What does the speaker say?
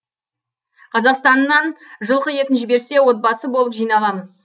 қазақстаннан жылқы етін жіберсе отбасы болып жиналамыз